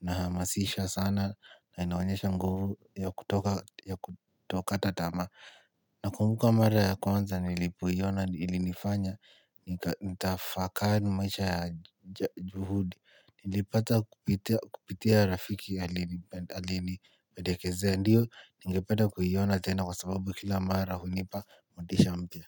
inahamasisha sana na inaonyesha nguvu ya kutokata tamaa. Nakumbuka mara ya kwanza nilipoiona ilinifanya nitafakari maisha ya juhudi. Nilipata kupitia rafiki alinipendekezea, ndiyo ningependa kuiona tena kwa sababu kila mara hunipa motisha mpya.